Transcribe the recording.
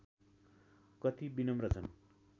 कति विनम्र छन्